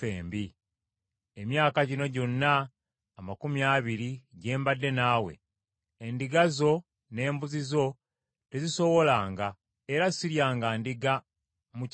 “Emyaka gino gyonna amakumi abiri gye mbadde naawe, endiga zo ne mbuzi zo tezisowolanga, era siryanga ndiga mu kisibo kyo.